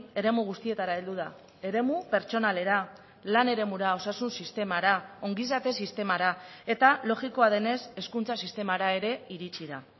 eremu guztietara heldu da eremu pertsonalera lan eremura osasun sistemara ongizate sistemara eta logikoa denez hezkuntza sistemara ere iritsi da